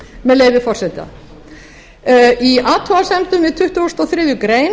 með leyfi forseta í athugasemdum við tuttugustu og þriðju grein